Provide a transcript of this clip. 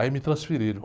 Aí me transferiram.